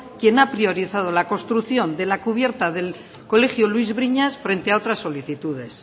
quien ha priorizado la construcción de la cubierta del colegio luis briñas frente a otra solicitudes